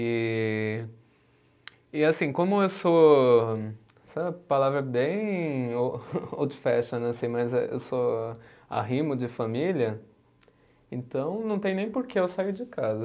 E. E, assim, como eu sou, essa palavra é bem old fashioned, assim, mas eu sou arrimo de família, então não tem nem porquê eu sair de casa.